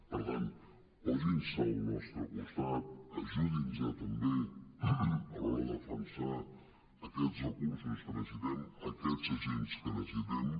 per tant posin·se al nostre costat ajudin·nos també a l’hora de defensar aquests recursos que necessitem aquests agents que necessitem